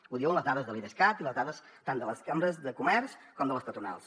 ho diuen les dades de l’idescat i les dades tant de les cambres de comerç com de les patronals